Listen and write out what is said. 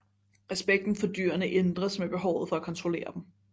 Respekten for dyrene ændres med behovet for at kontrollere dem